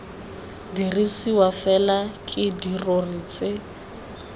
dirisiwa fela ke dirori tse